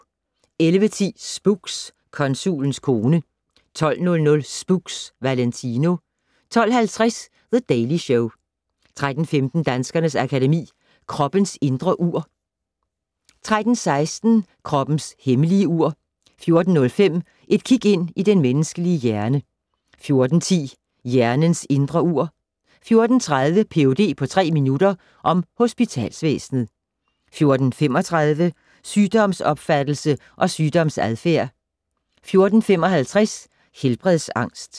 11:10: Spooks: Konsulens kone 12:00: Spooks: Valentino 12:50: The Daily Show 13:15: Danskernes Akademi: Kroppens indre ur 13:16: Kroppens hemmelige ur 14:05: Et kig ind i den menneskelige hjerne 14:10: Hjernens indre ur 14:30: Ph.d. på tre minutter - om hospitalsvæsenet 14:35: Sygdomsopfattelse og sygdomsadfærd 14:55: Helbredsangst